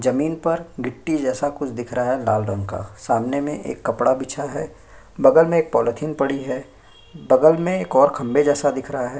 जमीन में गिट्टी जैसा दिख रहा है लाल रंग का सामने में एक कपड़ा बिछा है बगल में एक पॉलीथिन पड़ी है बगल में एक खम्भे जैसा दिख रहा है।